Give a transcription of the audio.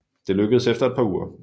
Det lykkedes efter et par uger